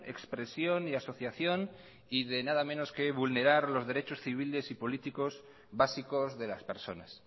expresión y asociación y de nada menos que vulnerar los derechos civiles y políticos básicos de las personas